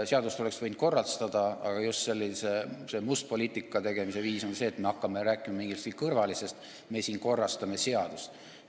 Seadust oleks võinud korrastada, aga just see must poliitika tegemise viis on see, et me hakkame rääkima millestki kõrvalisest, öeldes, et me siin korrastame seadust.